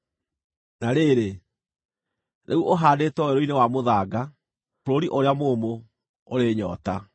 Na rĩrĩ, rĩu ũhaandĩtwo werũ-inĩ wa mũthanga, bũrũri ũrĩa mũũmũ, ũrĩ nyoota.